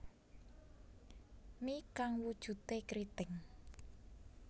Mi kang wujude kriting